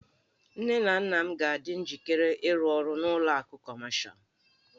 Nne na nna m ga-adị njikere ịrụ ọrụ n'ụlọ akụ Kọmashal.